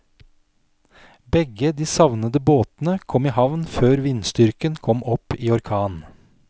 Begge de savnede båtene kom i havn før vindstyrken kom opp i orkan.